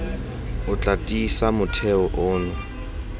o tla tiisa motheo ono